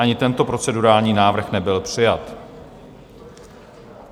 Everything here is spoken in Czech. Ani tento procedurální návrh nebyl přijat.